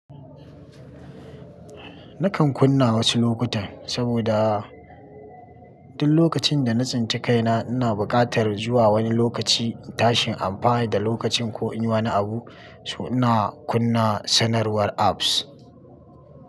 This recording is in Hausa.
Nakan kunna wasu lokutan saboda duk lokacin da na tsinci kaina ina buƙatar zuwa wani lokaci tashin amfani da lokacin ko in yi wani abu, so ina kunna sanarwar apps.